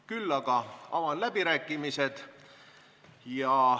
Küll aga avan läbirääkimised.